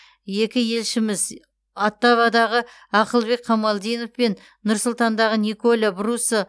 екі елшіміз оттавадағы ақылбек қамалдинов пен нұр сұлтандағы николя бруссо